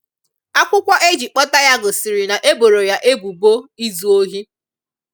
Akwụkwọ e ji kpọta ya gosiri na e boro ya e bubo izụ ohi.